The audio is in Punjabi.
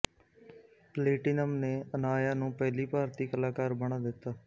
ਪਲੇਟੀਨਮ ਨੇ ਅਨਾਇਆ ਨੂੰ ਪਹਿਲੀ ਭਾਰਤੀ ਕਲਾਕਾਰ ਬਣਾ ਦਿੱਤਾ